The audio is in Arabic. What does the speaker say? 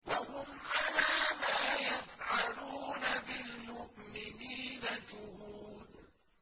وَهُمْ عَلَىٰ مَا يَفْعَلُونَ بِالْمُؤْمِنِينَ شُهُودٌ